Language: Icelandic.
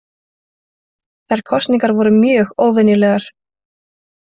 Þær kosningar voru mjög óvenjulegar